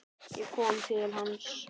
Ég kom til hans.